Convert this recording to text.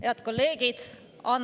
Head kolleegid!